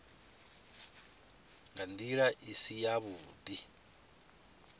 nga ndila i si yavhudi